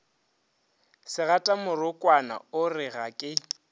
segatamorokwana o re ga ke